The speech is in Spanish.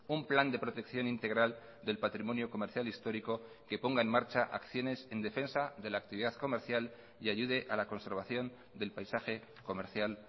un plan de protección integral del patrimonio comercial histórico que ponga en marcha acciones en defensa de la actividad comercial y ayude a la conservación del paisaje comercial